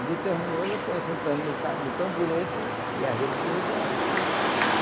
E determinou o Lampião sentando no ca no tamborete e a rede para o Vigário.